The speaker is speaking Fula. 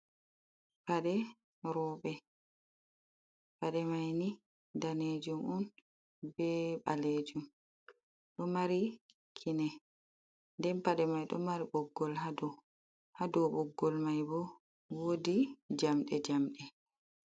Paɗe roɓe pade mai ni danejum on be balejum, ɗo mari kine nden paɗe mai ɗo mari boggol ha dow, boggol mai bo wodi jamɗe jamɗe.